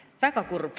Väga kurb.